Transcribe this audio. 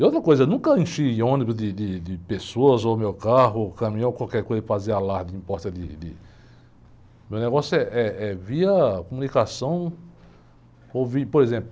E outra coisa, nunca enchi ônibus de, de, de pessoas, ou meu carro, ou caminhão, qualquer coisa que fazia alarde, em porta de, de... Meu negócio eh, é via comunicação, por exemplo,